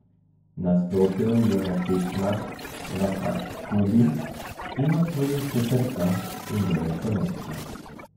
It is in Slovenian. Nastopil je na tekmah v Hakubi in osvojil četrto in deveto mesto.